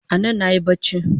Anan nayi bacci